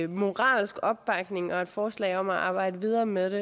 moralsk opbakning og et forslag om at arbejde videre med det